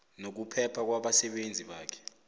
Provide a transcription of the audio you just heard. nokuphepha kwabasebenzi bakhe